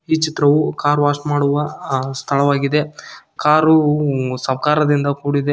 ಈ ಚಿತ್ರವು car wash ಮಾಡುವ ಆ- ಸ್ಥಳವಾಗಿದೆ ಕಾರು ಸಾಹುಕಾರದಿಂದ ಕೂಡಿದೆ.